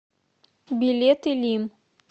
билет илим